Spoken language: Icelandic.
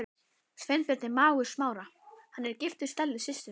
Sveinbjörn er mágur Smára, hann er giftur Stellu systur hans.